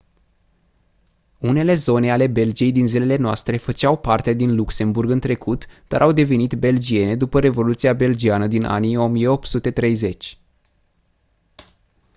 unele zone ale belgiei din zilele noastre făceau parte din luxemburg în trecut dar au devenit belgiene după revoluția belgiană din anii 1830